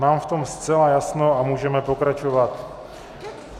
Mám v tom zcela jasno a můžeme pokračovat.